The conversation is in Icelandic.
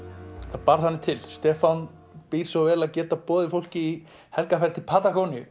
það bar þannig til Stefán býr svo vel að geta boðið fólki í helgarferð til